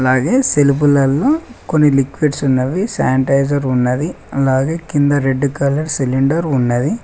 అలాగే సెల్పులల్లో లిక్విడ్స్ ఉన్నవి శానిటైజర్ ఉన్నది అలాగే కింద రెడ్ కలర్ సిలిండర్ ఉన్నది.